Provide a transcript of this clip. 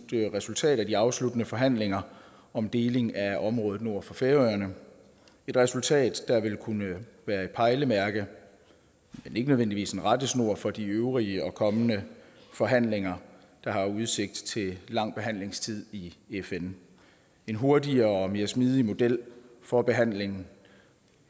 resultat af de afsluttende forhandlinger om deling af området nord for færøerne et resultat der vil kunne være et pejlemærke men ikke nødvendigvis en rettesnor for de øvrige og kommende forhandlinger der har udsigt til lang behandlingstid i fn en hurtigere og mere smidig model for behandlingen